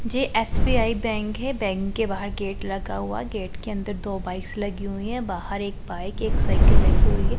जे S B I bank है bank के बाहर गेट लगा हुआ गेट के अंदर दो बाईस लगी हुई है बाहर एक बाइक एक साइकल लगी हुई है।